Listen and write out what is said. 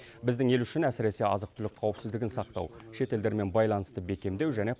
біздің ел үшін әсіресе азық түлік қауіпсіздігін сақтау шетелдермен байланысты бекемдеу және